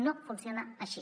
no funciona així